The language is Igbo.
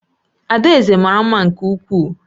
Adaeze mara mma nke ukwuu